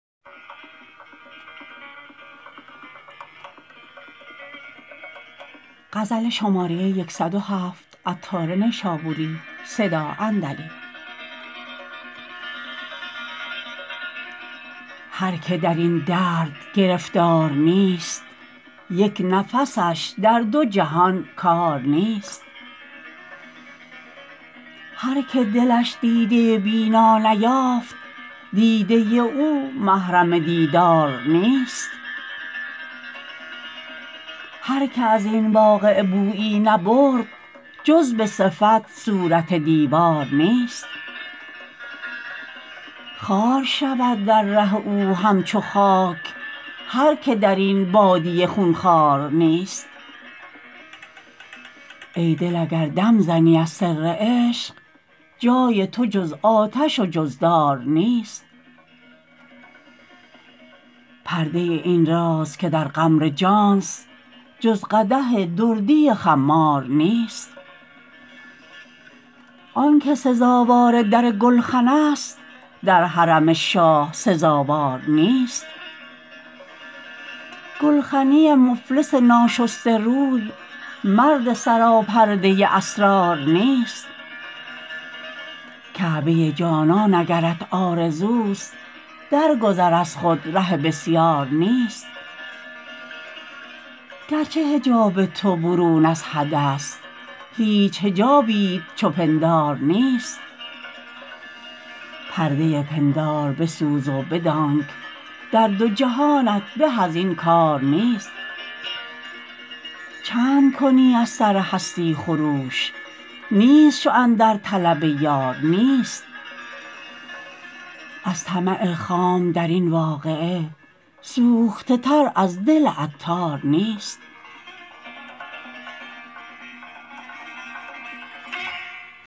هر که درین درد گرفتار نیست یک نفسش در دو جهان کار نیست هر که دلش دیده بینا نیافت دیده او محرم دیدار نیست هر که ازین واقعه بویی نبرد جز به صفت صورت دیوار نیست خوار شود در ره او همچو خاک هرکه در این بادیه خونخوار نیست ای دل اگر دم زنی از سر عشق جای تو جز آتش و جز دار نیست پرده این راز که در قعر جانست جز قدح دردی خمار نیست آنکه سزاوار در گلخن است در حرم شاه سزاوار نیست گلخنی مفلس ناشسته روی مرد سراپرده اسرار نیست کعبه جانان اگرت آرزوست در گذر از خود ره بسیار نیست گرچه حجاب تو برون از حد است هیچ حجابیت چو پندار نیست پرده پندار بسوز و بدانک در دو جهانت به ازین کار نیست چند کنی از سر هستی خروش نیست شو اندر طلب یار نیست از طمع خام درین واقعه سوخته تر از دل عطار نیست